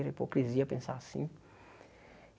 Era hipocrisia pensar assim.